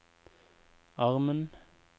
armen